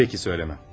Peki, söyləməm.